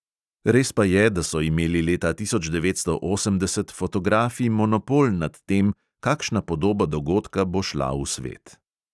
Res pa je, da so imeli leta tisoč devetsto osemdeset fotografi monopol nad tem, kakšna podoba dogodka bo šla v svet.